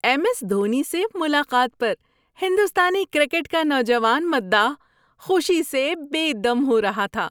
M S Dhoni سے ملاقات پر ہندوستانی کرکٹ کا نوجوان مداح خوشی سے بے دم ہو رہا تھا۔